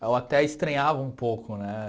Eu até estranhava um pouco, né?